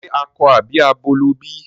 Ṣe akọ àbí abo ló bí?